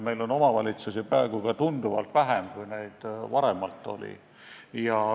Meil on omavalitsusi praegu ka tunduvalt vähem, kui neid varemalt oli.